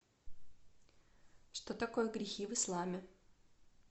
что такое грехи в исламе